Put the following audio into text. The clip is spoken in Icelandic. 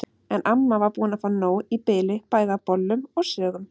En amma var búin að fá nóg í bili bæði af bollum og sögum.